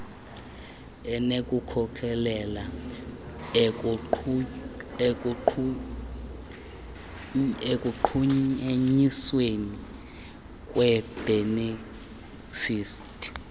inokukhokelela ekunqunyanyisweni kweebhenefithi